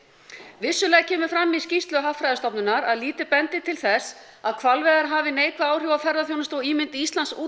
vissulega kemur fram í skýrslu Hagfræðistofnunar að lítið bendi til þess að hvalveiðar hafi neikvæð áhrif á ferðaþjónustu og ímynd Íslands út